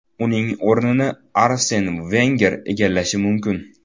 Uning o‘rnini Arsen Venger egallashi mumkin.